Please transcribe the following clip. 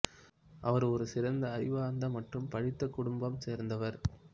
அவர் ஒரு சிறந்த அறிவார்ந்த மற்றும் படித்த குடும்பம் சேர்ந்தவர்